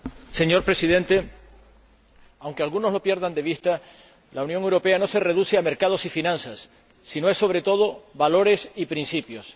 Señor Presidente, aunque algunos lo pierdan de vista, la Unión Europea no se reduce a mercados y finanzas, sino que representa, sobre todo, valores y principios.